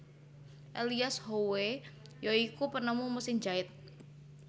Elias Howe ya iku penemu mesin jait